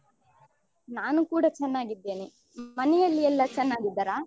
ನಾನು ಕೂಡ ಚೆನ್ನಾಗಿದ್ದೇನೆ ಮನೆಯಲ್ಲಿ ಎಲ್ಲ ಚೆನ್ನಾಗಿದ್ದಾರ?